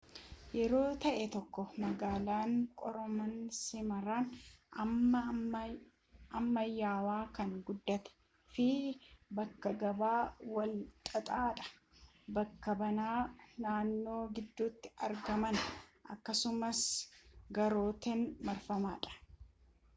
yeroo ta'ee tokko magaalan qaroomina simirina amma ammayawaa kan guddate fi bakka gabaa wal xaxaa dha bakka banaa naannoo gidduti argama akkasumaas gaarotan marfameera